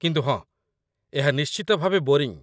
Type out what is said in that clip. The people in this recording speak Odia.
କିନ୍ତୁ ହଁ, ଏହା ନିଶ୍ଚିତ ଭାବେ ବୋରିଙ୍ଗ୍